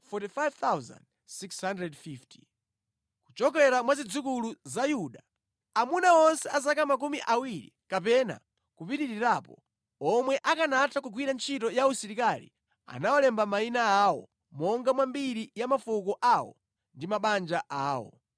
Kuchokera mwa zidzukulu za Yuda: Amuna onse a zaka makumi awiri kapena kupitirirapo, omwe akanatha kugwira ntchito ya usilikali anawalemba mayina awo monga mwa mbiri ya mafuko awo ndi mabanja awo.